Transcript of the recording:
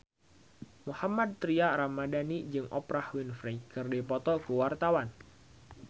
Mohammad Tria Ramadhani jeung Oprah Winfrey keur dipoto ku wartawan